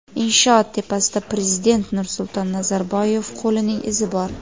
Inshoot tepasida prezident Nursulton Nazarboyev qo‘lining izi bor.